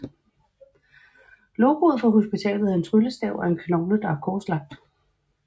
Logoet for hospitalet er en tryllestav og en knogle der er korslagt